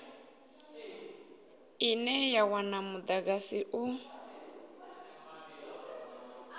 ine ya wana mudagasi u